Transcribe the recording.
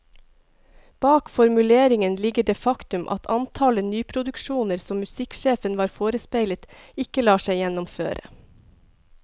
Bak formuleringen ligger det faktum at antallet nyproduksjoner som musikksjefen var forespeilet, ikke lar seg gjennomføre.